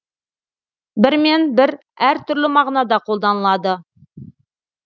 бір мен бір әртүрлі мағынада қолданылады